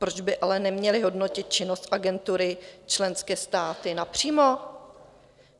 Proč by ale neměly hodnotit činnost Agentury členské státy napřímo?